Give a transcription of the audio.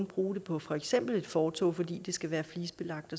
bruge det på for eksempel et fortov fordi det skal være et flisebelagt